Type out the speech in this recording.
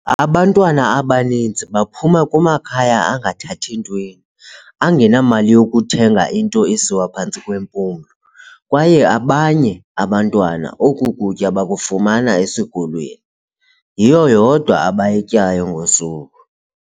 "Abantwana abaninzi baphuma kumakhaya angathathi ntweni, angenamali yokuthenga into esiwa phantsi kwempumlo, kwaye abanye abantwana oku kutya bakufumana esikolweni, yiyo yodwa abayityayo ngosuku."